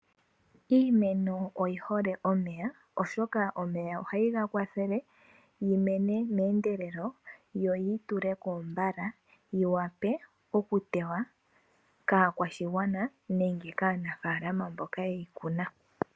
Iimeno oyihole omeya oshoka omeya ohageyi kwathele yi mene meendelelo. Yo yi tuleko mbala yi wape oku tewa kaakwashigwana nenge kaanafaalama mboka yeyi kuna.